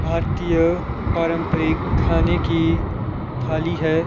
भारतीय पारंपरिक खाने की थाली है।